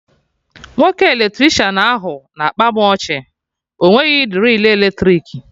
Nwoke Eletricịanahụ na-akpa mụ ọchị, ọ nweghị drill eletrik